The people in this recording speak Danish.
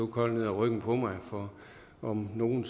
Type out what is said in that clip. koldt ned ad ryggen på mig for om nogen